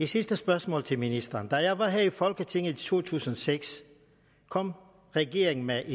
sidste spørgsmål til ministeren da jeg var her i folketinget i to tusind og seks kom regeringen med et